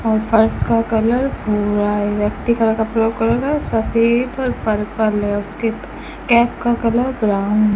और फर्श का कलर भूरा है व्यक्ति का कपड़ा सफेद और पर्पल है उसके कैप का कलर ब्राउन --